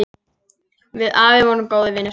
Við afi vorum góðir vinir.